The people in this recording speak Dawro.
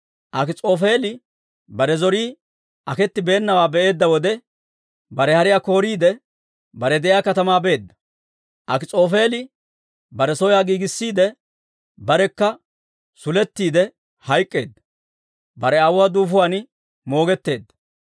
Akis'oofeeli bare zorii aketibeenawaa be'eedda wode, bare hariyaa kooriide, bare de'iyaa katamaa beedda; Akis'oofeeli bare soyaa giigissiide, barekka sulettiide hayk'k'eedda; bare aawuwaa duufuwaan moogetteedda.